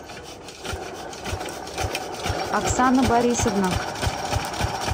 оксана борисовна